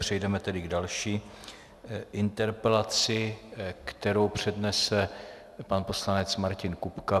Přejdeme tedy k další interpelaci, kterou přednese pan poslanec Martin Kupka.